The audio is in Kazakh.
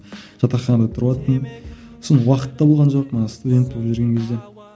жатаханада тұрываттым сонымен уақыт та болған жоқ студент болып жүрген кезде